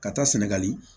Ka taa sɛnɛgali